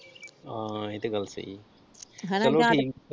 ਹਾ ਇਹ ਤੇ ਗੱਲ ਸਹੀ ਆ।